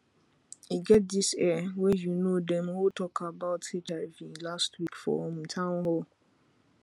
e get this eh wey you know dem hold talk about hiv last week for um town hall